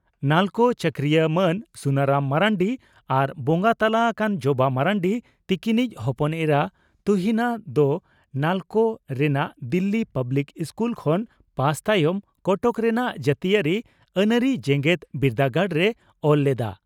ᱱᱟᱞᱠᱳ ᱪᱟᱹᱠᱨᱤᱭᱟᱹ ᱢᱟᱱ ᱥᱩᱱᱟᱨᱟᱢ ᱢᱟᱨᱱᱰᱤ ᱟᱨ ᱵᱚᱸᱜᱟ ᱛᱟᱞᱟ ᱟᱠᱟᱱ ᱡᱚᱵᱟ ᱢᱟᱨᱱᱰᱤ ᱛᱤᱠᱤᱱᱤᱡ ᱦᱚᱯᱚᱱ ᱮᱨᱟ ᱛᱩᱦᱤᱱᱟ ᱫᱚ ᱱᱟᱞᱚᱠ ᱨᱮᱱᱟᱜ ᱫᱤᱞᱤ ᱯᱟᱵᱽᱞᱤᱠ ᱤᱥᱠᱩᱞ ᱠᱷᱚᱱ ᱯᱟᱥ ᱛᱟᱭᱚᱢ ᱠᱚᱴᱚᱠ ᱨᱮᱱᱟᱜ ᱡᱟᱹᱛᱤᱭᱟᱹᱨᱤ ᱟᱹᱱᱟᱹᱨᱤ ᱡᱮᱜᱮᱛ ᱵᱤᱨᱫᱟᱹᱜᱟᱲ ᱨᱮ ᱚᱞ ᱞᱮᱫᱼᱟ ᱾